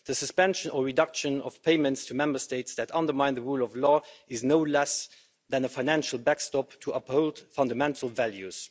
The suspension or reduction of payments to Member States that undermine the rule of law is no less than a financial backstop to uphold fundamental values.